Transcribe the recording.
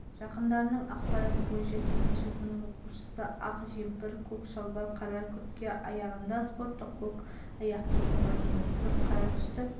сыныптастарымен сөйлесіп ауруханаларды аралаймыз қазір біз оны сыныптастарының жанында деп ойлап отырмыз мүмкін қыдырып кеткен